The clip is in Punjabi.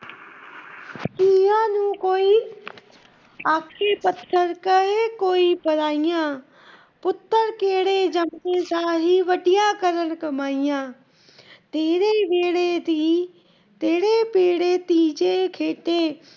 ਆਖੇ ਕਰ ਕੋਈ ਪਾਰੀਏਆਂ, ਪੁੱਤਰ ਕਿਹੜੇ ਜੰਮਦੇ ਵੱਢੀਆਂ ਕਰਨ ਕਮਾਈਆਂ। ਤੇਰੇ ਵੇਹੜੇ ਧੀ ਜੇ ਖੇਡੇ